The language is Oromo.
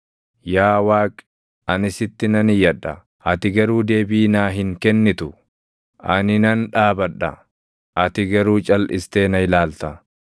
“Yaa Waaqi, ani sitti nan iyyadha; ati garuu deebii naa hin kennitu; ani nan dhaabadha; ati garuu calʼistee na ilaalta.